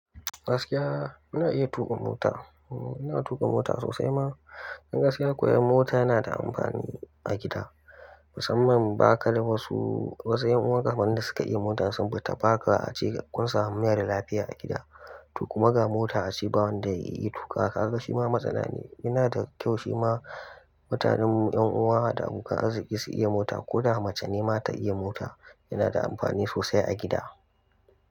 Gaskiya ina iya tuka mota. Ina tuka mota sosai ma in gaskiya koya mota na da amfani a gida. Musamman ba ka da wasu, wasu 'yan uwa ka wanda suka iya mota sun bauta baka a cikakkuwar samun mayar da lafiya a gida. To kuma ga mota a ciki ba wanda ya iya tuƙa. To kaga shi ma matsala ne. Yana da kyau shi ma mutanen 'yan uwa da abokan arziki su iya mota ko da mace nema ta iya mota. Yana da amfani sosai a gida.